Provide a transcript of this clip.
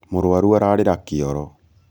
mũrwaru ararĩra kĩoro